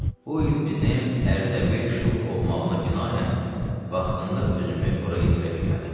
Bu il bizim Ərdəbil şuluq olmağına binaən, vaxtında özümü bura yetirə bilmədim.